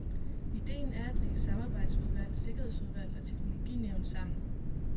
Idéen er at lægge samarbejdsudvalg, sikkerhedsudvalg og teknologinævn sammen.